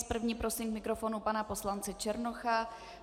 S první prosím k mikrofonu pana poslance Černocha.